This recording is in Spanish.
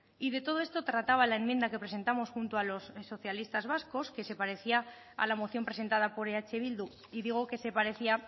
y de todo esto trataba la enmienda que presentamos junto a los socialistas vascos que se parecía a la moción presentada por eh bildu y digo que se parecía